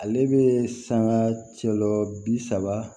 Ale bɛ sanga cɛla bi saba